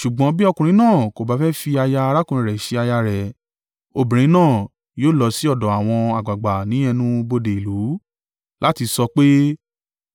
Ṣùgbọ́n bí ọkùnrin náà kò bá fẹ́ fi aya arákùnrin rẹ̀ ṣe aya rẹ̀, obìnrin náà yóò lọ sí ọ̀dọ̀ àwọn àgbàgbà ní ẹnu-bodè ìlú láti sọ pé,